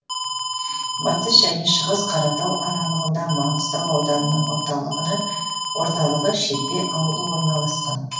батыс және шығыс қаратау аралығында маңғыстау ауданының орталығы шетпе ауылы орналасқан